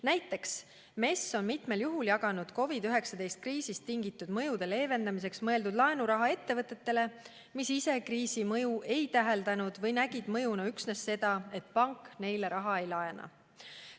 Näiteks MES on mitmel juhul jaganud COVID-19 kriisist tingitud mõjude leevendamiseks mõeldud laenuraha ettevõtetele, mis ise kriisi mõju ei täheldanud või nägid mõjuna üksnes seda, et pank neile raha ei laena.